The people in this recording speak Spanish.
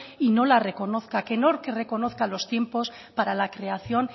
y no la reconozca que no reconozca los tiempos para la creación